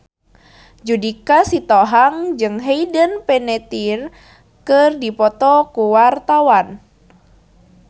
Judika Sitohang jeung Hayden Panettiere keur dipoto ku wartawan